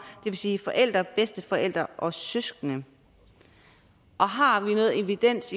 vil sige forældre bedsteforældre og søskende og har vi noget evidens